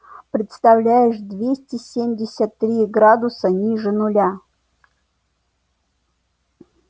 представляешь двести семьдесят три градуса ниже нуля